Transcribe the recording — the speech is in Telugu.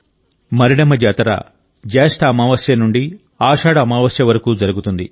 మరిడమ్మ జాతర జ్యేష్ట అమావాస్య నుండి ఆషాఢ అమావాస్య వరకు జరుగుతుంది